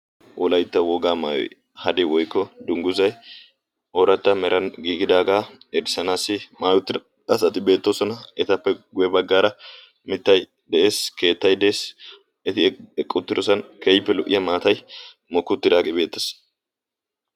Wolaytta wogaa maayoi hade woykko dungguzai ooratta meran giigidaagaa erisanaassi maayoti asati beettoosona etappe guye baggaara mittai de'ees. keettay de'ees. eti eqquttirosan keyippe lo"iya maatay moki uttidaage beettes.